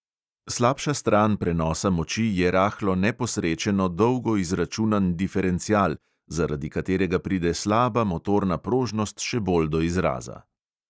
Slabša stran prenosa moči je rahlo neposrečeno dolgo izračunan diferencial, zaradi katerega pride slaba motorna prožnost še bolj do izraza.